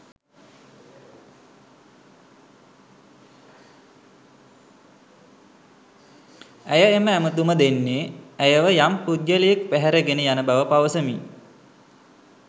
ඇය එම ඇමතුම දෙන්නේ ඇයව යම් පුද්ගලයෙක් පැහැරගෙන යන බව පවසමින්.